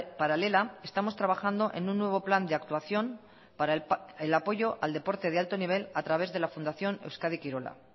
paralela estamos trabajando en un nuevo plan de actuación para el apoyo del deporte de alto nivel a través de la fundación euskadi kirola